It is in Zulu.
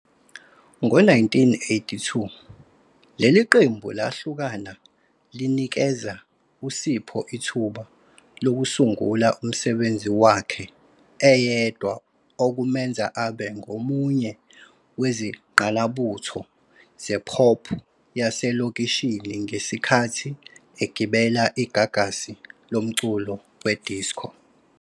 Ngo-1982, leli qembu lahlukana linikeza uSipho ithuba lokusungula umsebenzi wakhe eyedwa okumenza abe ngomunye wezingqalabutho ze-pop yaselokishini ngesikhathi egibele igagasi lomculo we-disco.